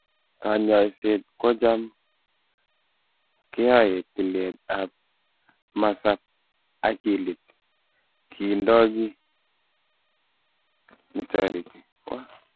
Kanyoiset ko cham keae tilet ap masap akilit kindoo kii netareti.